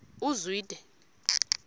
uzwide